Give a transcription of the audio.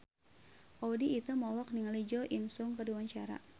Audy Item olohok ningali Jo In Sung keur diwawancara